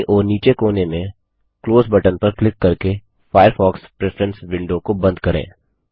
बायीं ओर नीचे कोने में क्लोज़ बटन पर क्लिक करके फ़ायरफ़ॉक्स प्रेफरेंस विंडो को बंद करें